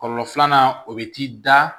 Kɔlɔlɔ filanan o bɛ t'i da